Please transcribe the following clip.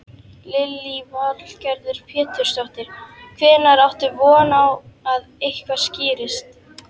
Lillý Valgerður Pétursdóttir: Hvenær áttu von á að eitthvað skýrist?